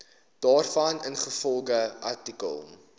daarvan ingevolge artikel